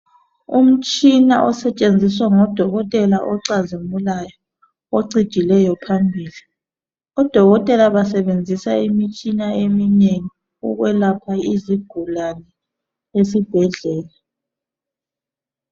Umtshina osetshenziswa ngodokotela ocazimulayo ocijileyo phambili. Odokotela basebenzisa imitshina eminengi ukwelapha izigulane esibhedlela.